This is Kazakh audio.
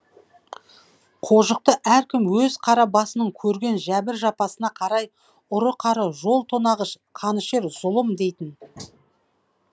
қожықты әркім өз қара басының көрген жәбір жапасына қарай ұры қары жол тонағыш қанішер зұлым дейтін